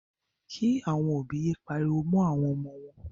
Kí. àwọn òbí yé pariwo mọ́ àwọn ọmọ wọn.